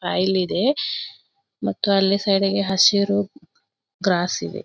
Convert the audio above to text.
File ಇದೆ ಮತ್ತು ಅಲ್ಲಿ ಸೈಡಿಗೆ ಹಸಿರು ಗ್ರಾಸ್ ಇದೆ.